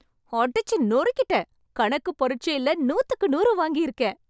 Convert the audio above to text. அடிச்சு நொறுக்கிட்டேன்! கணக்கு பரிட்சையில் நூத்துக்கு நூறு வாங்கி இருக்கேன்.